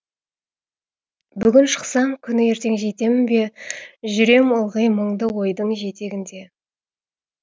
бүгін шықсам күні ертең жетемін бе жүрем ылғи мұңды ойдың жетегінде